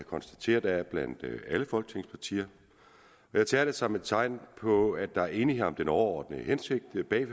konstatere der er blandt alle folketingets partier jeg ser det som et tegn på at der er enighed om den overordnede hensigt med